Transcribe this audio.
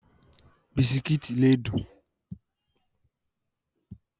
Bisikíìtì lè dùn.